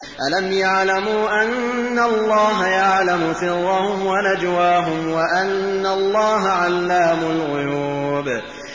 أَلَمْ يَعْلَمُوا أَنَّ اللَّهَ يَعْلَمُ سِرَّهُمْ وَنَجْوَاهُمْ وَأَنَّ اللَّهَ عَلَّامُ الْغُيُوبِ